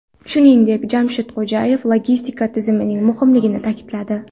Shuningdek, Jamshid Xo‘jayev logistika tizimining muhimligini ta’kidladi.